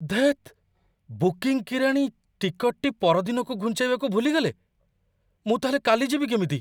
ଧେତ୍! Booking କିରାଣୀ ଟିକଟ୍‌ଟି ପରଦିନକୁ ଘୁଞ୍ଚେଇବାକୁ ଭୁଲି ଗଲେ। ମୁଁ ତା'ହେଲେ କାଲି ଯିବି କେମିତି?